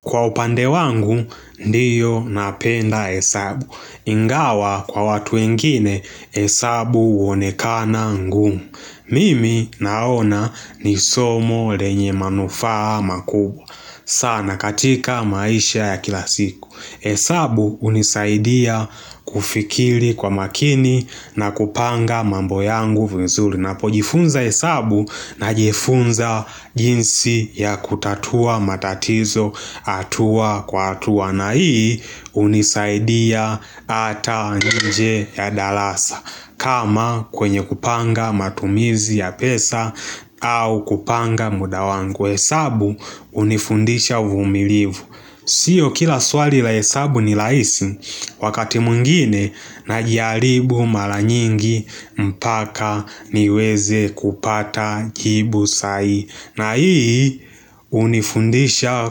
Kwa upande wangu ndiyo napenda hesabu Ingawa kwa watu wengine hesabu huonekana ngumu Mimi naona ni somo lenye manufaa makubwa sana katika maisha ya kila siku hesabu hunisaidia kufikiri kwa makini na kupanga mambo yangu vizuri ninapo jifunza hesabu na jifunza jinsi ya kutatua matatizo hatua kwa hatua na hii hunisaidia ata inje ya darasa kama kwenye kupanga matumizi ya pesa au kupanga muda wangu hesabu hunifundisha uvumilivu Sio kila swali la hesabu ni rahisi wakati mwingine najaribu mara nyingi mpaka niweze kupata jibu sai na hii hunifundisha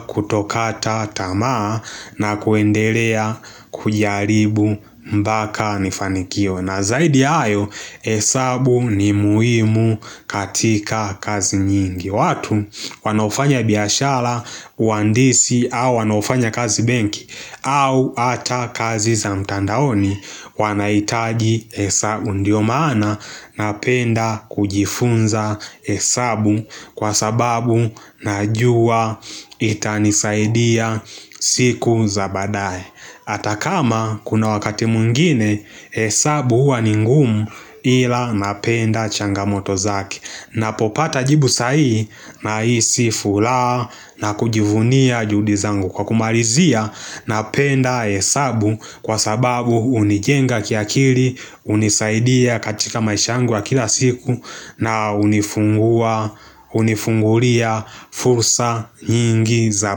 kutokata tamaa na kuendelea kujaribu mpaka nifanikiwe na zaidi ya hayo hesabu ni muhimu katika kazi nyingi watu wanaofanya biashara uandisi au wanaofanya kazi benki au ata kazi za mtandaoni wanahitaji hesabu ndio maana napenda kujifunza hesabu Kwa sababu najua itanisaidia siku za badae Ata kama kuna wakati mwingine hesabu huwa ningumu ila napenda changamoto zake ninapopata jibu sahihi nahisi furaha na kujivunia juhudi zangu kwa kumalizia napenda hesabu kwa sababu hunijenga kiakili, hunisaidia katika maisha yangu ya kila siku na hunifungua hunifungulia fursa nyingi za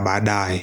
badae.